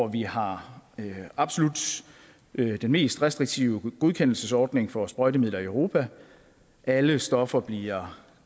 vi har absolut den mest restriktive godkendelsesordning for sprøjtemidler i europa alle stoffer bliver